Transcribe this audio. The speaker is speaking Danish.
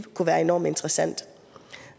kunne være enormt interessant